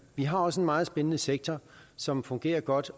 vi har også en meget spændende sektor som fungerer godt